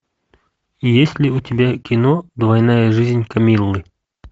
есть ли у тебя кино двойная жизнь камиллы